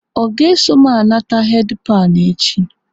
Ọ ga-eso m anata heedi panụ echi?